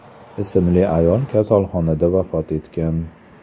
ismli ayol kasalxonada vafot etgan.